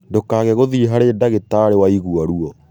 Ndũkage gũthĩi harĩ dagĩtari waigwa ruo